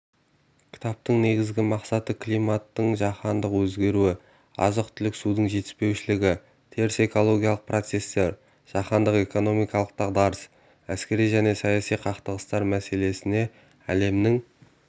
кітаптың негізгі мақсаты климаттың жаһандық өзгеруі азық-түлік судың жетіспеушілігі теріс экологиялық процестер жаһандық экономикалық дағдарыс әскери және саяси қақтығыстар мәселесіне әлемнің